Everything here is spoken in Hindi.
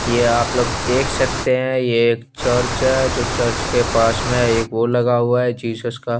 ये आप लोग देख सकते है ये एक चर्च है जो चर्च के पास में वो लगा हुआ है जीजस का --